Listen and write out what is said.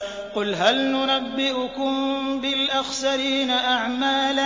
قُلْ هَلْ نُنَبِّئُكُم بِالْأَخْسَرِينَ أَعْمَالًا